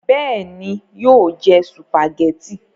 bẹ́ẹ̀ni, yóò jẹ sùpàgẹ́tì